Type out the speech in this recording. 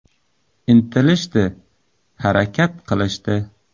Intilishdi, harakat qilishdi.